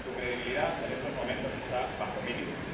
Su credibilidad en estos momentos está bajo mínimos.